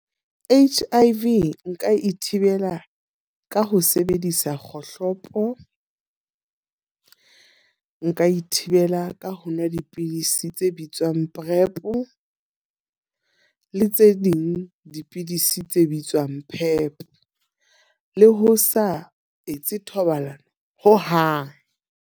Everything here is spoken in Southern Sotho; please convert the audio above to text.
H_I_V nka e thibela ka ho sebedisa kgohlopo. Nka ithibela ka ho nwa dipidisi tse bitswang Prep le tse ding dipidisi tse bitswang Pep. Le ho sa etse thobalano hohang.